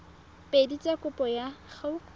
pedi tsa kopo ya go